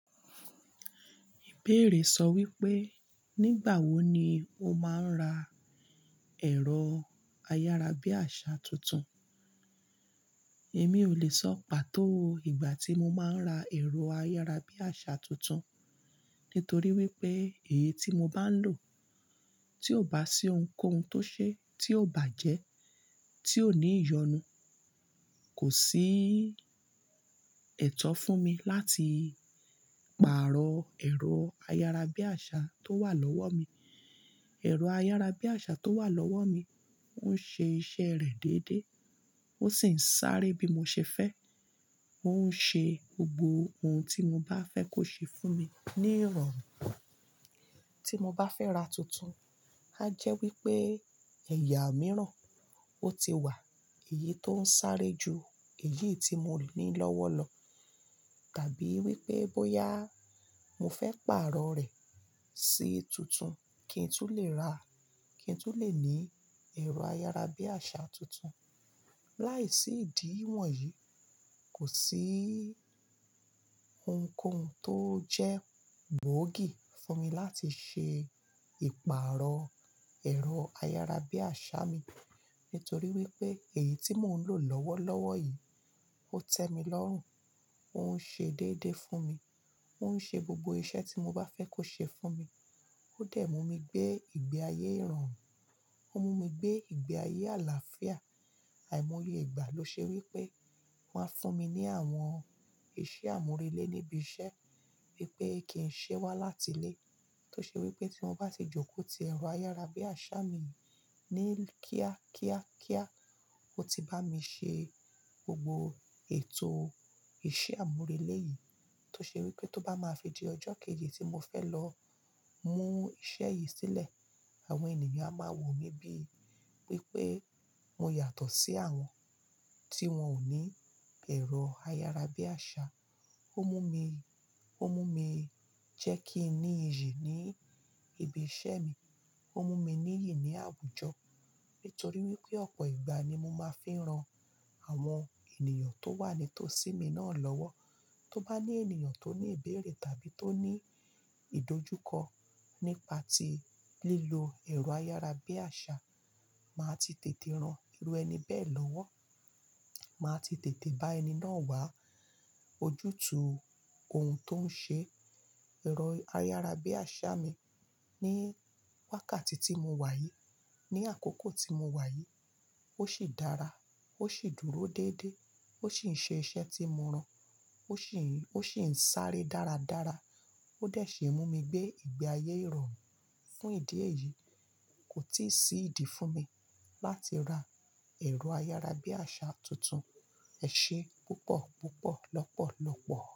Ìbéèrè sọ wípé, nígbà wo ni o máa ń ra ẹ̀rọ ayárabíàṣà tuntun. Èmi ò lè sọ pàtó ìgbà tí mo máa ń ra ẹ̀rọ ayárabíàṣà tuntun, nítorí wípé èyí tí mo bá ń lò, tí ò bá sí ohunkóhun tó ṣe, tí ò bàjẹ́, tí ò ní ìyọnu, kò sí ẹ̀tọ́ fún mi láti pààrọ̀ ẹ̀rọ ayárabíàṣà tó wà lọ́wọ́ mi. Ẹ̀rọ ayárabíàṣà tó wà lọ́wọ́ mi ń ṣe iṣẹ́ rẹ̀ dédé, ó sì ń sáré bí mo ṣe fẹ́. Ó ń ṣe gbogbo ohun tí mo bá fẹ́ kó ṣe fún mi ní ìrọ̀rùn. Tí mo bá fẹ́ ra tuntun, a jẹ́ wípé ẹ̀yà mìíràn ó ti wà, èyí tó ń sáré ju èyí tí mo ní lọ́wọ́ lọ. Tàbí wípé bóyá mo fẹ́ pààrọ̀ rẹ̀ sí tuntun kí n tó lè ràá, kí n tó lè ní ẹ̀rọ ayárabíàṣà tuntun. Láìsí ìdí wọ̀nyí, kò sí ohunkóhun tó jẹ́ gboogi fún mi láti ṣe ìpààrọ̀ ẹ̀rọ ayárabíàṣà mi. Nítorí wípé èyí tí mò ń lò lọ́wọ́lọ́wọ́ yìí ó tẹ́ mi lọ́rùn, ó ń ṣe déédéé fún mi, ó ń ṣe gbogbo iṣẹ́ tí mo bá fẹ́ kó ṣe fún mi, ó dẹ́mu mi gbé ìgbé ayé ìrọ̀rùn, ó mú mi gbé ìgbé ayé àlàáfíà. Àìmọye ìgbà lo ṣe wípé, wón fún mi ní àwọn iṣẹ́ àmúrelé níbi iṣẹ́, wípé kí ń ṣe wá láti lé. Tó ṣe wípé tí wón bá ti jókòó ti ẹ̀rọ ayárabíàṣà mi ní kíá kíá kíá, ó ti bá mi ṣe gbogbo ètò iṣẹ́ àmúrelé yìí. Tó ṣe wípé tó bá máa fi di ọjọ́ kejì tí mo fẹ́ lọ mú iṣẹ́ yìí sílẹ̀, àwọn ènìyàn á máa wò mí bí pé pé mo yàtọ̀ sí àwọn tí wón ò ní ẹ̀rọ ayárabíàṣà. Ó mú mi, ó mú mi jẹ́ kí n ní iyì ní ibi iṣẹ́ mi. Ó mú mi ní iyì ní àwùjọ. Nítorí wípé ọ̀pọ̀ ìgbà ni mo máa ń fi ran àwọn ènìyàn tó wà nítòsí mi náà lọ́wọ́. Tó bá ní ènìyàn tó ní ìbéèrè tàbí tó ní ìdójúkọ nípa ti lílo ẹ̀rọ ayárabíàṣà, màá ti tètè rán irú ẹni bẹ́ẹ̀ lọ́wọ́. Màá ti tètè bá ẹni náà wá ojútùú ohun tó ń ṣe ẹ̀rọ ayárabíàṣà mi ní wákàtí tí mo wà yìí. Ni àkókò tí mo wà yìí. Ó sì dára, ó sì dúró déédéé, ó sì ń ṣe iṣẹ́ tí mo rán, ó sì ń, ó sì ń sáré dáradára. Ó dẹ̀ ṣe é mú mi gbé ìgbé ayé ìrọ̀rùn. Fún ìdí èyí, kò tíì sí ìdí fún mi láti ra ẹ̀rọ ayárabíàṣà tuntun. Ẹ ṣe púpọ̀, púpọ̀, lọ́pọ̀, lọ́pọ̀.